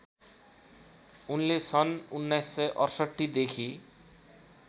उनले सन् १९६८ देखि